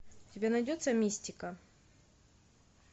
у тебя найдется мистика